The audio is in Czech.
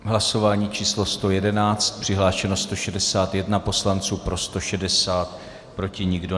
Hlasování číslo 111, přihlášeno 161 poslanců, pro 160, proti nikdo.